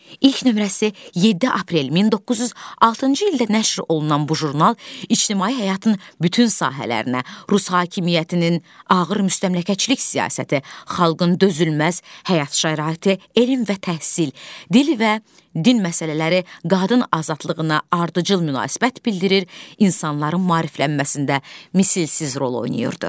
İlk nömrəsi 7 aprel 1906-cı ildə nəşr olunan bu jurnal ictimai həyatın bütün sahələrinə, rus hakimiyyətinin ağır müstəmləkəçilik siyasəti, xalqın dözülməz həyat şəraiti, elm və təhsil, dil və din məsələləri, qadın azadlığına ardıcıl münasibət bildirir, insanların maariflənməsində misilsiz rol oynayırdı.